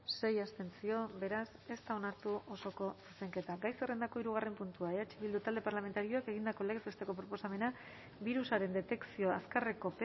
sei abstentzio beraz ez da onartu osoko zuzenketa gai zerrendako hirugarrena puntua eh bildu taldeak egindako legez besteko proposamena birusaren detekzio azkarreko